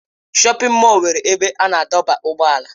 Shọpin mọll nwere ebe a na-adọba ụgbọala.